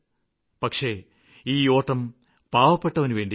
പക്ഷേ ഈ ഓട്ടം പാവപ്പെട്ടവനുവേണ്ടിയാണ്